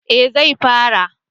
Eh zai fara